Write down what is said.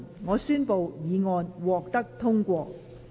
我宣布議案獲得通過。